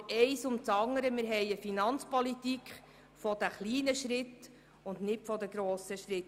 Aber eines nach dem anderen: Wir haben eine Finanzpolitik der kleinen und nicht der grossen Schritte.